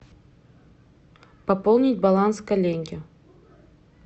пополнить баланс коллеги